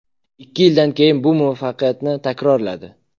Ikki yildan keyin bu muvaffaqiyatini takrorladi.